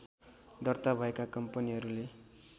दर्ता भएका कम्पनीहरूले